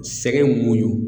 Sɛgɛn muɲu